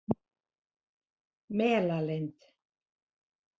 Melalind